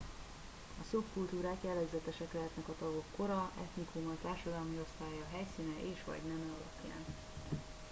a szubkultúrák jellegzetesek lehetnek a tagok kora etnikuma társadalmi osztálya helyszíne és/vagy neme alapján